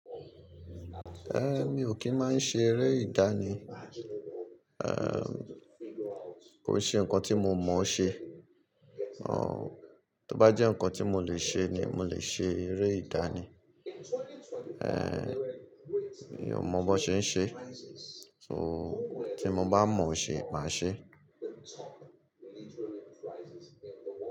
Mi ò kì í máa ṣe eré ìdání. Ehn, kò n se ǹnkan tí mo mọ̀ ọ́ ṣe. Àh, tó bá jẹ́ ǹnkan tí mo lè ṣe ni mo lè ṣe eré ìdánì. Ehn, mi ò mọ bó ṣe ń ṣe, so tí mo bá mọ̀ ọ́ ṣe, màá ṣe.